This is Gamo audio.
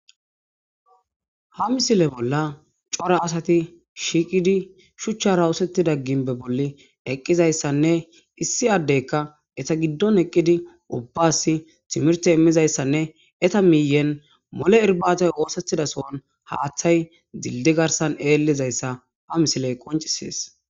Ha misile bolla cora asati shiqidi shuchara osetida ginbi bolla eqidaysane issi adeyka eta gidon eqidi ubbasi timirte imizaysanne eta miyeppe mole irbatay othetida son hathay dildiye garsa illidaysa ha misiley qoncises